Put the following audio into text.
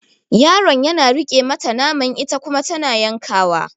Yaron yana riƙe mata naman ita kuma tana yankawa.